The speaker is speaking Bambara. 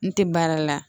N tɛ baara la